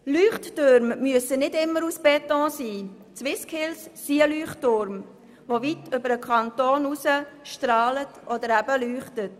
Leuchttürme müssen nicht immer aus Beton sein – die SwissSkills sind ein Leuchtturm, der weit über den Kanton hinaus strahlt oder eben leuchtet.